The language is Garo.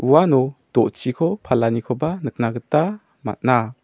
uano do·chiko palanikoba nikna gita man·a.